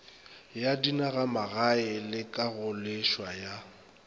ya dinagamagae le kagoleswa ya